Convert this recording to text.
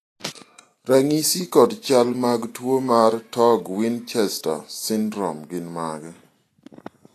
ranyisi kod chal mag tuo mar Torg Winchester syndrome gin mage?